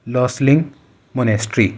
लोसलिंक monastery --